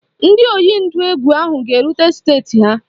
Ndị oyi ndụ egwu ahụ ga-erute steeti ha